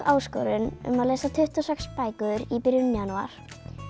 áskorun um að lesa tuttugu og sex bækur í byrjun janúar